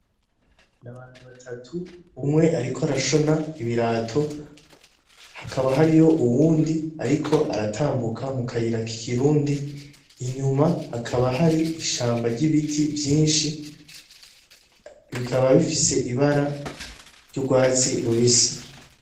N'abantu batatu umwe ariko arashona ibirato hakaba hariyo uyundi ariko aratambuka mu kayira k'ikirundi, inyuma hakaba hari ishamba ry'ibiti vyinshi bikaba bifise ibara ry'ugwatsi rubisi.